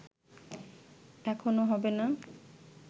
এখনো হবে না